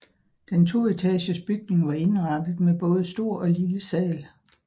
Den toetagers bygning var indrettet med både stor og lille sal